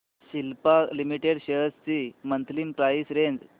Cipla limited shares ची monthly price range